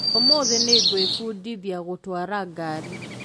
ũmũthĩ nĩngwĩbundithia gũtwara ngari